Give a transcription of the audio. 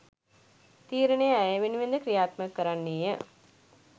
තීරණය ඇය වෙනුවෙන්ද ක්‍රියාත්මක කරන්නේය